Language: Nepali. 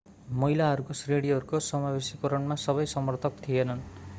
महिलाहरूका श्रेणीहरूको समावेशीकरणमा सबै समर्थक थिएनन्